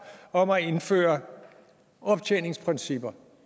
om at indføre optjeningsprincipper